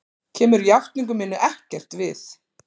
Kemur játningu minni ekkert við.